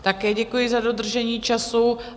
Také děkuji za dodržení času.